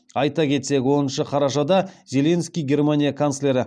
айта кетсек оныншы қарашада зеленский германия канцлері